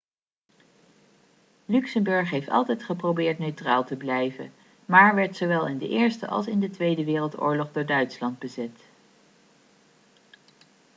luxemburg heeft altijd geprobeerd neutraal te blijven maar werd zowel in de eerste als in de tweede wereldoorlog door duitsland bezet